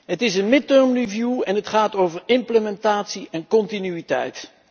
Het is een midterm review en het gaat over implementatie en continuïteit.